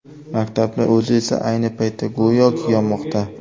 Maktabning o‘zi esa ayni paytda, go‘yoki, yonmoqda.